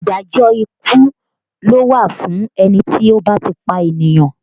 Ìdájọ́ ikú ló wà fún ẹni tí ó bá ti pànìyàn